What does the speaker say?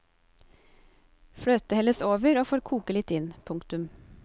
Fløte helles over og får koke litt inn. punktum